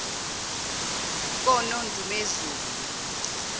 konondumezulu